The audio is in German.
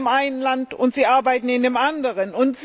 Sie leben in dem einen Land und sie arbeiten in dem anderen.